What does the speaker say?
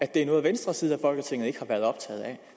det er noget venstre side af folketinget ikke har været optaget af